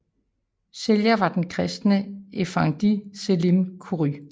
Sælger var den kristne effendi Selim Khoury